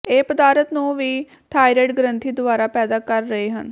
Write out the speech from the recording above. ਇਹ ਪਦਾਰਥ ਨੂੰ ਵੀ ਥਾਇਰਾਇਡ ਗ੍ਰੰਥੀ ਦੁਆਰਾ ਪੈਦਾ ਕਰ ਰਹੇ ਹਨ